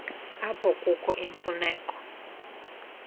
apho kukho imfuneko